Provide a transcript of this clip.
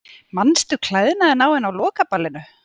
Manstu klæðnaðinn á henni á lokaballinu?